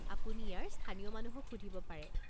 আপুনি ইয়াৰ স্থানীয় মানুহক সুধিব পাৰে।